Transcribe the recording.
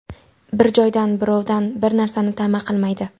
Bir joydan, birovdan bir narsani ta’ma qilmaydi.